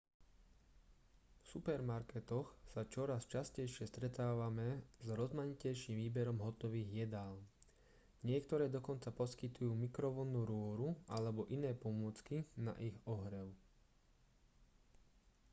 v supermarketoch sa čoraz častejšie stretávame s rozmanitejším výberom hotových jedál niektoré dokonca poskytujú mikrovlnnú rúru alebo iné pomôcky na ich ohrev